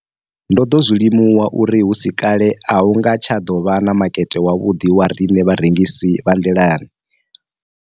Ndo ḓo zwi limuwa uri hu si kale a hu nga tsha ḓo vha na makete wavhuḓi wa riṋe vharengisi vha nḓilani, o ralo.